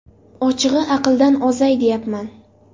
Ochig‘i , aqldan ozay deyapman.